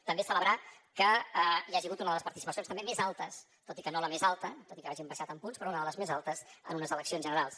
també celebrar que hi hagi hagut una de les participacions també més altes tot i que no la més alta tot i que hàgim baixat en punts però una de les més altes en unes eleccions generals